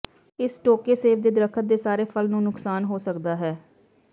ਇਸ ਟੋਕੇ ਸੇਬ ਦੇ ਦਰਖ਼ਤ ਦੇ ਸਾਰੇ ਫਲ ਨੂੰ ਨੁਕਸਾਨ ਹੋ ਸਕਦਾ ਹੈ